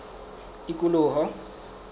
tikoloho